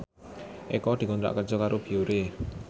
Eko dikontrak kerja karo Biore